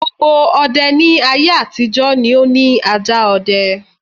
Gbogbo ọdẹ ní aye-àtijọ́ ni ó ni ajá ọdẹ.